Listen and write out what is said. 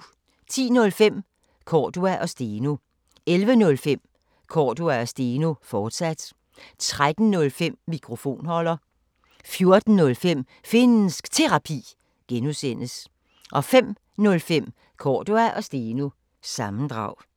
10:05: Cordua & Steno 11:05: Cordua & Steno, fortsat 13:05: Mikrofonholder 14:05: Finnsk Terapi (G) 05:05: Cordua & Steno – sammendrag